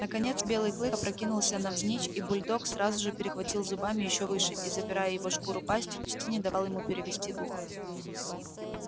наконец белый клык опрокинулся навзничь и бульдог сразу же перехватил зубами ещё выше и забирая его шкуру пастью почти не давал ему перевести дух